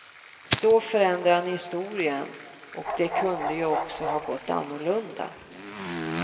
Så förändrar han historien och det kunde ju också ha gått annorlunda.